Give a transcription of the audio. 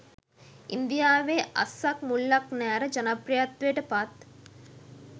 ඉන්දියාවේ අස්සක් මුල්ලක් නෑර ජනප්‍රියත්වයට පත්